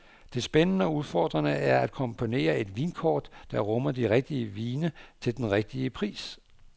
Det spændende og udfordrende er at komponere et vinkort, der rummer de rigtige vine til den rigtige pris.